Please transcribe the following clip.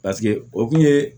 Paseke o kun ye